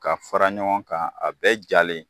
Ka fara ɲɔgɔn kan a bɛɛ jalen.